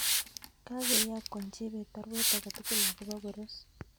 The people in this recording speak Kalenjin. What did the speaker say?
Kagoyokwan Chebet Baruet age tugul akobo Koros